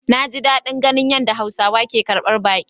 Naji dadin ganin yadda hausawa ke karbar baki.